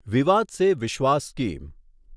વિવાદ સે વિશ્વાસ સ્કીમ